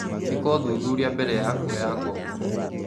ĩka ũthuthuria mbere ya kuoya ngombo.